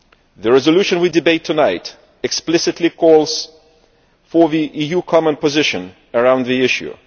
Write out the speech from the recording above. The resolution we are debating tonight explicitly calls for an EU common position around the issue.